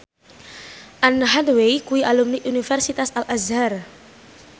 Anne Hathaway kuwi alumni Universitas Al Azhar